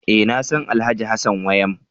E! Nasan Alhj. Hassan Wayam.